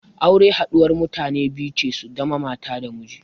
Aure haɗuwar mutane biyu ce su zama mata da miji.